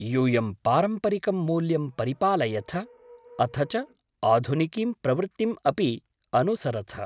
यूयं पारम्परिकं मूल्यं परिपालयथ अथ च आधुनिकीं प्रवृत्तिम् अपि अनुसरथ।